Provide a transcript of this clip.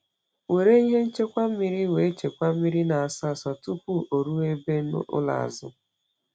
Were ihe ṅchekwa mmiri wee chekwaa mmiri na asọ asọ tupu ọ ruo ebe ụlọ azu